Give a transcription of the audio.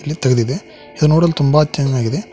Gate ತೆಗೆದಿದೆ ಇದು ನೋಡಲು ತುಂಬ ಚೆನ್ನಾಗಿದೆ.